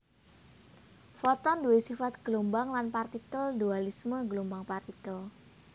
Foton duwé sifat gelombang lan partikel dualisme gelombang partikel